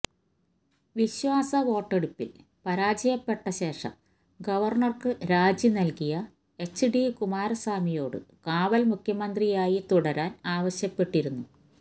വിശ്വാസ വോട്ടെടുപ്പില് പരാജയപ്പെട്ട ശേഷം ഗവര്ണര്ക്ക് രാജി നല്കിയ എച്ച് ഡി കുമാരസ്വാമിയോട് കാവല് മുഖ്യമന്ത്രിയായി തുടരാന് ആവശ്യപ്പെട്ടിരുന്നു